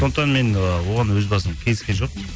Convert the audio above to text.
сондықтан мен ы оған өз басым келіскен жоқпын